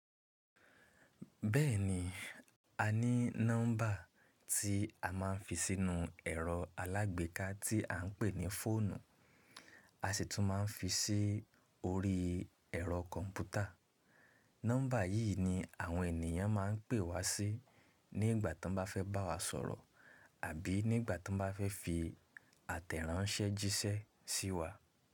Bẹ́ẹ̀ni, a ní nọ́mbà tí a máa ń fi sínú ẹ̀rọ alágbèéká tí à ń pè ní fóònù, a sì tún máa ń fi sí orí ẹ̀rọ kọ̀mpútà. Nọ́mbà yìí ni àwọn ènìyàn máa ń pè wá sí nígbà tí wọ́n bá fẹ́ bá wa sọ̀rọ̀ àbí nígbà tí wọ́n bá fẹ́ fi àtẹ̀ránṣẹ́ jíṣẹ́ sí wa.